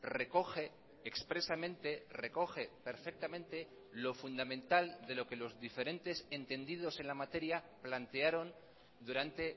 recoge expresamente recoge perfectamente lo fundamental de lo que los diferentes entendidos en la materia plantearon durante